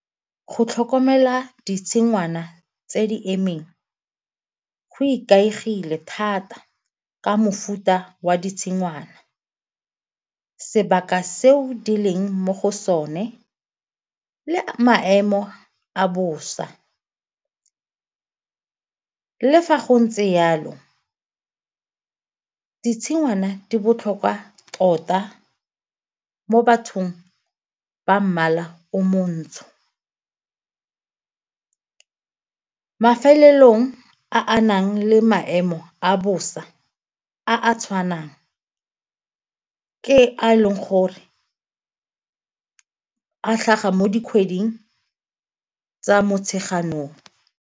Go tlhokomela ditshingwana tse di emeng go ikaegile thata ka mofuta wa ditshingwana, sebaka seo di leng mo go sone le maemo a bosa. Le fa go ntse jalo, ditshingwana di botlhokwa tota mo bathong ba mmala o montsho, mafelelong a a nang le maemo a bosa a a tshwanang ke a e leng gore tlhaga mo dikgweding tsa Motsheganong.